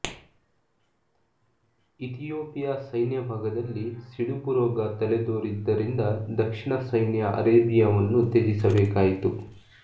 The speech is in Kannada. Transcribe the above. ಇಥಿಯೋಪಿಯ ಸೈನ್ಯಭಾಗದಲ್ಲಿ ಸಿಡುಬು ರೋಗ ತಲೆದೋರಿದ್ದರಿಂದ ದಕ್ಷಿಣ ಸೈನ್ಯ ಅರೇಬಿಯವನ್ನು ತ್ಯಜಿಸಬೇಕಾಯಿತು